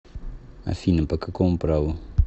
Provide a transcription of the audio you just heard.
афина по какому праву